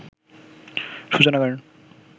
সূচনা করেন